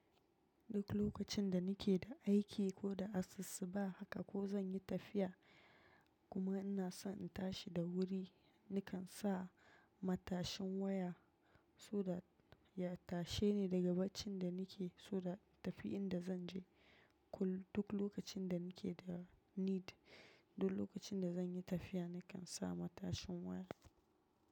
Duk lokacin da nake da aiki ko da asussuba haka ko zan yi tafiya kuma in ina son in tashi da wuri, nikan sa matashin waya so that ya tashe ni daga bacin da nike so that in tafi inda zan je. Duk lokacin da nike da need, duk lokacin da zan yi tafiya, nikan sa matashin waya.